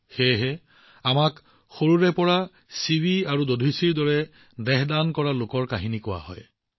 সেয়েহে সৰুৰে পৰা আমাক শিৱি আৰু দাধিচীৰ কাহিনী বৰ্ণনা কৰা হয় যিয়ে তেওঁলোকৰ নশ্বৰ দেহ দান কৰিছিল